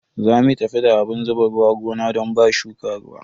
Za mu tafi da abun zuba ruwa gona don ba shuka ruwa.